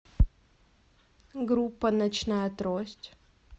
группа ночная трость